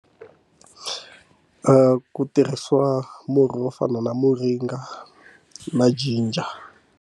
Ku tirhisiwa murhi wo fana na muringa na ginger.